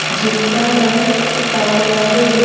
जिनका रंग काला है।